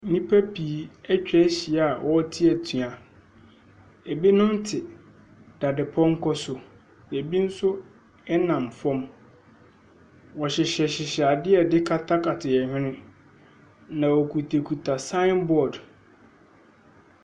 Nnipa pii etwa ahyia a wɔte atua. Ebinom te dadepɔnkɔ so. Ebi nso ɛnam fam. Wɔhyehyɛ hyehyɛ ade a yɛde kata yɛn hwene. Na wokuta kuta saen bɔd.